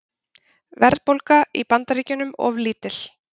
Verðbólga í Bandaríkjunum of lítil